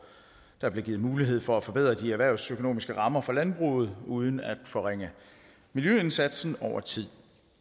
der blev givet mulighed for at forbedre de erhvervsøkonomiske rammer for landbruget uden at forringe miljøindsatsen over tid